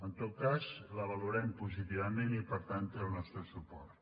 en tot cas la valorem positivament i per tant té el nostre suport